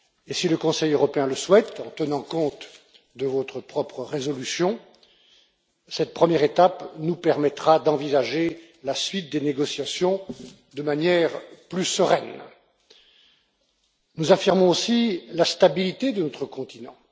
Si le Conseil européen le souhaite, en tenant compte de votre propre résolution, cette première étape nous permettra d'envisager la suite des négociations de manière plus sereine. Nous affirmons aussi la stabilité de notre continent.